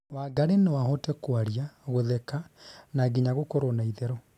Wangari no ahote kwaria, gutheka na nginya gũkorwo na itherũ